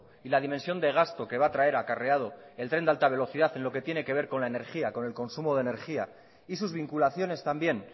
y la dimensión de gasto que va a traer acarreado el tren de alta velocidad en lo que tiene que ver con la energía con el consumo de energía y sus vinculaciones también